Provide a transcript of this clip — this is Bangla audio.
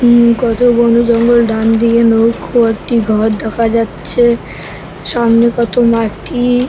উম-ম কত বনো জঙ্গল ডান দিকে নৌকো একটি ঘর দেখা যাচ্ছে সামনে কত মাটি-ই ।